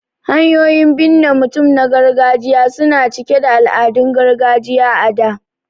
Hanyoyin binne mutum na gargajiya su na cike da al'adun gargajiya a da.